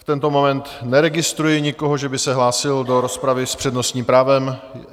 V tento moment neregistruji nikoho, že by se hlásil do rozpravy s přednostním právem.